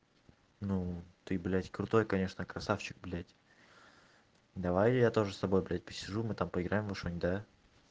ну ты блядь крутой конечно красавчик блядь давай я тоже с собой блядь посижу мы там поиграем во что-нибудь да